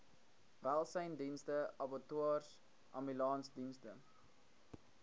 welsynsdienste abattoirs ambulansdienste